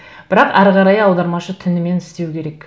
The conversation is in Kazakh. бірақ ары қарай аудармашы түнімен істеу керек